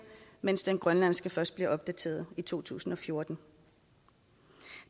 mens den grønlandske lov først blev opdateret i to tusind og fjorten